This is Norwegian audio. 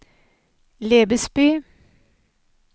Lebesby